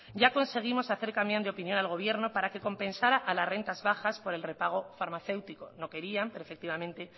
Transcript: ya conseguimos hacer cambiar de opinión al gobierno para que compensara a las rentas bajas por el prepago farmacéutico no querían pero efectivamente